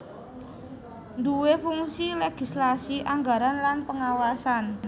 duwé fungsi legislasi anggaran lan pengawasan